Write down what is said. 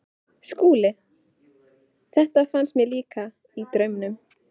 SKÚLI: Þetta fannst mér líka- í draumnum.